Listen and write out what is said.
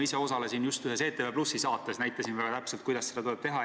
Ma osalesin just ühes ETV+-i saates ja näitasin väga täpselt, kuidas seda tuleb teha.